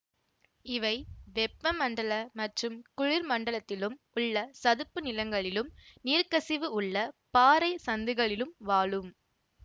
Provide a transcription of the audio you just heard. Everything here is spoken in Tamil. இவை வெப்ப மண்டல மற்றும் குளிர் மண்டலத்திலும் உள்ள சதுப்பு நிலங்களிலும் நீர்க்கசிவு உள்ள பாறை சந்துகளிலும் வாழும்